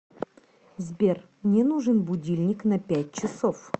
сбер мне нужен будильник на пять часов